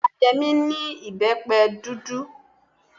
Ìyá Yẹmí ní ìbẹ́pẹ dúdú.